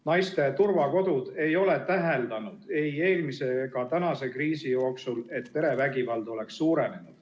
Naiste turvakodud ei ole täheldanud ei eelmise ega praeguse kriisi jooksul, et perevägivald oleks suurenenud.